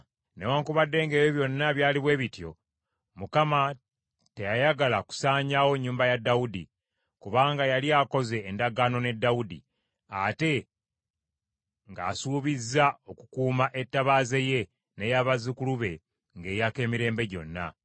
Newaakubadde ng’ebyo byonna byali bwe bityo, Mukama teyayagala kusaanyaawo nnyumba ya Dawudi, kubanga yali akoze endagaano ne Dawudi, ate ng’asuubizza okukuuma ettabaaza ye n’eya bazzukulu be ng’eyaka emirembe gyonna.